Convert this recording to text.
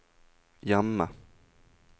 hjemme